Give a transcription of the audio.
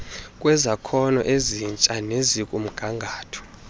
kwezakhono ezitsha nezikumgangatho